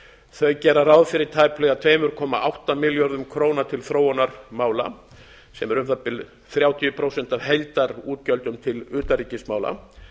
ársins gera ráð fyrir tæplega tvö komma átta milljónir króna til þróunarmála sem eru um það bil þrjátíu prósent af heildarútgjöldum til utanríkismála